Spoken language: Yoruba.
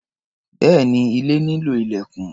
Bẹ́ẹ̀ni, ilé nílò ilẹ̀kùn.